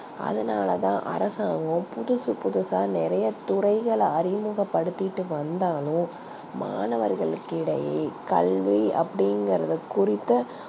அதுனால தா அரசாங்கம் புதுசு புதுசா நெறைய துறைகல அறிமுக படுத்திகிட்டு வந்தாலும் மாணவர்கள் கிடையே கல்வி அப்டிங்கரத குறித்து